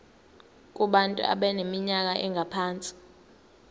kubantu abaneminyaka engaphansi